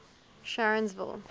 sharonsville